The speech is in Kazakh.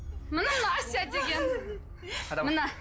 әсия деген міне